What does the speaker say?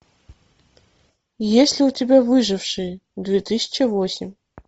есть ли у тебя выжившие две тысячи восемь